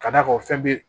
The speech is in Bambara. Ka d'a kan fɛn bɛ